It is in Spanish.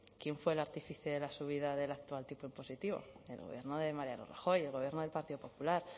quién fue el artífice de la subida del actual tipo impositivo el gobierno de mariano rajoy el gobierno del partido popular